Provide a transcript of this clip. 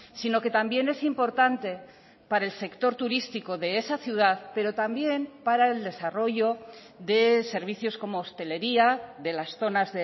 sino que también es importante para el sector turístico de esa ciudad pero también para el desarrollo de servicios como hostelería de las zonas